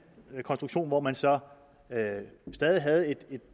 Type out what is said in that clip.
konstruktion hvor man så stadig havde en